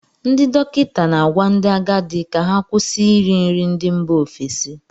Ndị dọkịta na-agwa ndị agadi ka ha kwụsị iri nri ndị mba ofesi